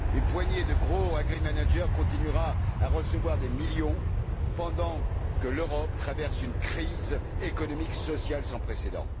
Une poignée de gros agrimanagers continuera à recevoir des millions alors que l'Europe traverse une crise économique sociale sans précédent.